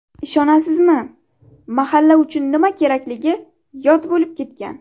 Ishonasizmi, mahalla uchun nima kerakligi yod bo‘lib ketgan.